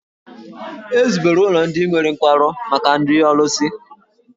E zubere ụlọ ndị nwere nkwarụ maka ndị ọlụsị.